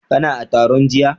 Kana a taron jiya?